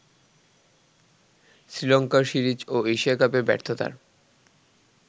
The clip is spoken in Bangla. শ্রীলঙ্কা সিরিজ ও এশিয়া কাপে ব্যর্থতার